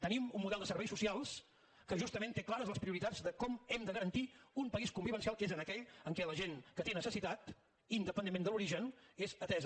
tenim un model de serveis socials que justament té clares les prioritats de com hem de garantir un país convivencial que és aquell en què la gent que té necessitat independentment de l’origen és atesa